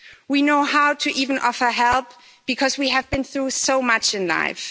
We know how to even offer help because we have been through so much in life.